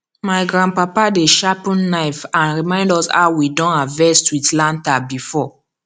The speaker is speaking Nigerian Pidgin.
my grandpapa dey sharpen knife and remind us how we don harvest with lantern before